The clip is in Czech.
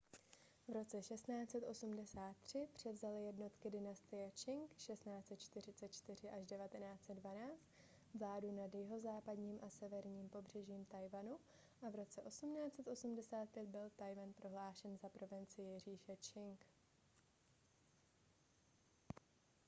v roce 1683 převzaly jednotky dynastie čching 1644–1912 vládu nad jihozápadním a severním pobřežím tchaj-wanu a v roce 1885 byl tchaj-wan prohlášen za provincii říše čching